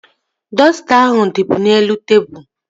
Dọsta ahụ dịbu n'elu tebụl